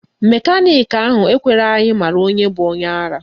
Mekaniki ahụ ekweghị ka anyị mara onye bụ onye ara